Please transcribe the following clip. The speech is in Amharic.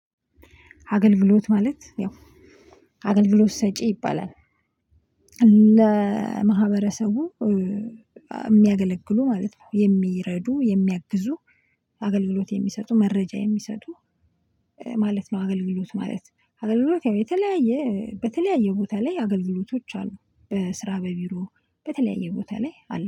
አገልግሎት ማለት ያው አገልግሎት ሰጪ ይባላል። ለማህበረሰቡ የሚያገለግሉ ማለት ነው። የሚረዱ የሚያግዙ አገልግሎት የሚሰጡ መረጃ የሚሰጡ ማለት ነው። አገልግሎት ማለት ነው። አገልግሎት ያው የተለያየ በተለያየ ቦታ ላይ አገልግሎቶች አሉ በስራ በቢሮ በተለያየ ቦታ ላይ አሉ